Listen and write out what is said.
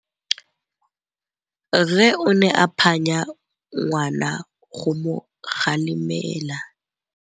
Rre o ne a phanya ngwana go mo galemela.